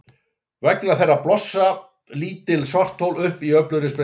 Vegna þeirra blossa lítil svarthol upp í öflugri sprengingu.